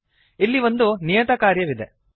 ಇಲ್ಲಿ ಒಂದು ನಿಯತಕಾರ್ಯ ಅಸೈನ್ ಮೆಂಟ್ವಿದೆ